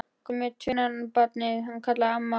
Komdu með tvinnann, barn, kallaði mamma.